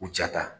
U ja ta